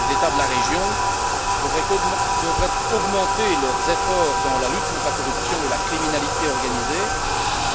Les États de la région devraient augmenter leurs efforts dans la lutte contre la corruption et la criminalité organisée,